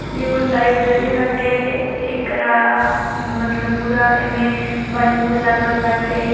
एगो लाइब्रेरी हटे एकरा मतलब पूरा एमें बैलून लागल बाटे।